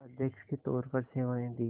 अध्यक्ष के तौर पर सेवाएं दीं